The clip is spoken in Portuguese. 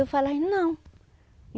Eu falei, não.